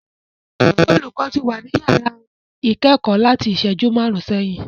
Olùkọ́ ti wà ní yàrá ìkẹ́kọ̀ọ́ láti ìṣẹ́jú márùn-ún sẹ́yìn.